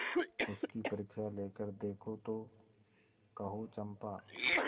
उसकी परीक्षा लेकर देखो तो कहो चंपा